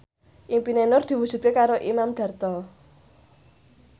impine Nur diwujudke karo Imam Darto